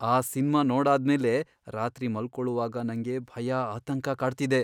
ಆ ಸಿನ್ಮಾ ನೋಡಾದ್ಮೇಲೆ ರಾತ್ರಿ ಮಲ್ಕೊಳುವಾಗ ನಂಗೆ ಭಯ, ಆತಂಕ ಕಾಡ್ತಿದೆ.